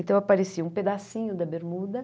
Então, aparecia um pedacinho da bermuda.